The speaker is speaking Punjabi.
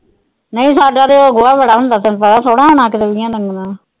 ਨਹੀਂ ਸਾਡਾ ਤਾ ਉਹ ਗੋਆਂ ਬੜਾ ਹੁੰਦਾ ਤੈਨੂੰ ਪਤਾ ਥੋੜ੍ਹਾ ਹੋਣਾ .